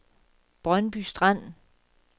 Brøndby Strand